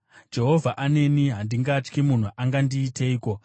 Jehovha aneni; handingatyi. Munhu angandiiteiko?